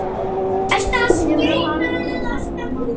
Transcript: Hefurðu aldrei átt mann?